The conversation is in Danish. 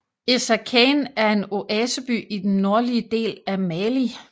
Essakane er en oaseby i den nordlige del af Mali